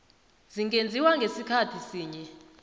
zingenziwa ngasikhathi sinye